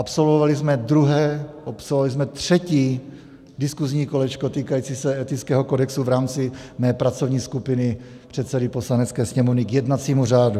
Absolvovali jsme druhé, absolvovali jsme třetí diskuzní kolečko týkající se etického kodexu v rámci mé pracovní skupiny předsedy Poslanecké sněmovny k jednacímu řádu.